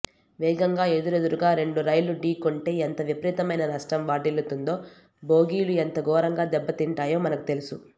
వేగంగా ఎదురెదురుగా రెండు రైళ్లు ఢకొీంటే ఎంత విపరీతమైన నష్టం వాటిల్లుతుందో బోగీలు ఎంత ఘోరంగా దెబ్బతింటాయో మనకు తెలుసు